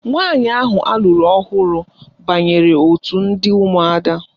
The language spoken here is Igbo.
Nwaanyị ahụ alụrụ ọhụrụ banyere otu ndị ụmụada